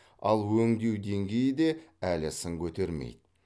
ал өңдеу деңгейі де әлі сын көтермейді